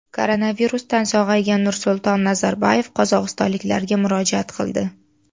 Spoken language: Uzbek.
Koronavirusdan sog‘aygan Nursulton Nazarboyev qozog‘istonliklarga murojaat qildi.